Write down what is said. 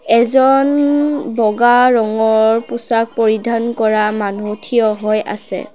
এজন বগা ৰঙৰ পোছাক পৰিধান কৰা মানুহ থিয় হৈ আছে।